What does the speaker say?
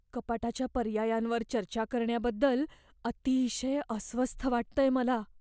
कपाटाच्या पर्यायांवर चर्चा करण्याबद्दल अतिशय अस्वस्थ वाटतंय मला.